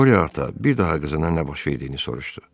Qorya ata bir daha qızına nə baş verdiyini soruşdu.